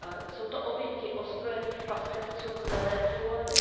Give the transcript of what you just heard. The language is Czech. Jsou to oběti ozbrojených pastevců kmene Fulbů.